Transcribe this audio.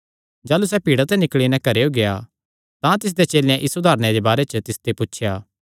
जाह़लू सैह़ भीड़ा ते निकल़ी नैं घरेयो गेआ तां तिसदेयां चेलेयां इस उदारणे दे बारे च तिसते पुछया